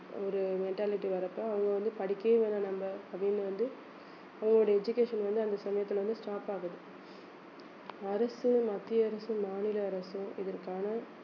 ஒரு mentality வர்றப்போ அவங்க வந்து படிக்கவே வேணாம் நம்ம அப்படின்னு வந்து அவங்களுடைய education வந்து அந்த சமயத்துல வந்து stop ஆகுது அரசும் மத்திய அரசும் மாநில அரசும் இதற்கான